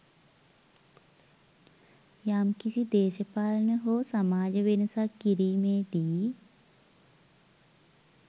යම්කිසි දේශපාලන හෝ සමාජ වෙනසක් කිරීමේදී